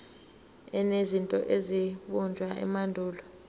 enezinto ezabunjwa emandulo